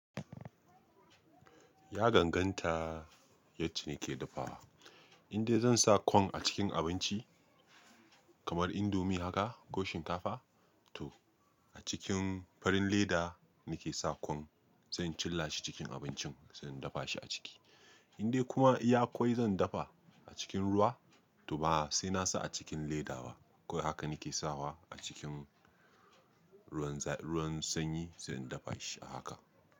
Ya ganganta yace nake dafawa. In dai zan sa kwai a cikin abinci kamar indomie haka ko shinkafa to a cikin farin leda nake sa kwai zan cilla shi cikin abincin zan dafa shi a ciki. In dai kuma iya kwai zan dafa a cikin ruwa to ba sai na sa a cikin ledaba kawai haka nake sawa a cikin ruwan sanyi zan dafa shi a haka.